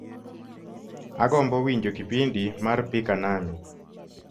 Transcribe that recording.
agombo winjo kipindi mar pika nami